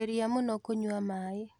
Geria mũno kũnyua maaĩ